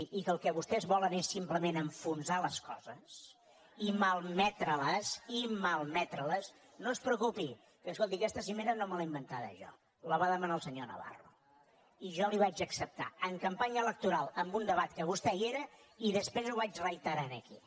i que el que vostès volen és simplement enfonsar les coses i malmetre les i malmetre les no es preocupi que escolti aquesta cimera no me l’he inventada jo la va demanar el senyor navarro i jo la hi vaig acceptar en campanya electoral en un debat que vostè hi era i després ho vaig reiterar aquí